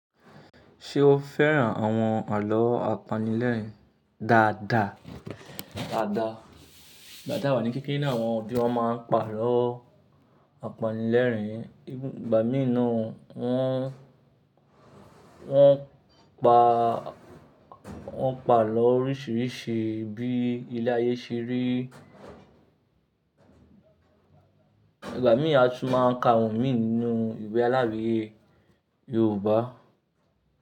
Ṣé o fẹ́ràn àwọn àlọ́ apanilẹ́rìn-ín dáadáa? Dáadáa. Igbà tí a wà ní kékeré náà, àwọn òbí wa máa ń pa àlọ́ apanilẹ́rìn-ín. Ìgbà mìíràn ni wọ́n, wọ́n pa, wọ́n pa àlọ́ oríṣiríṣi bíi ilé ayé ṣeré. Ìgbà mìíràn a tún máa ń ka àwọn míì nínú ìwé aláweye Yorùbá.